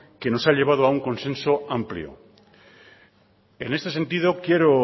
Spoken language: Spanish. que nos ha llevado a un consenso amplio en este sentido quiero